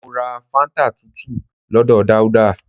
Mọ ra fáńtà tútù lọ́dọ̀ Dauda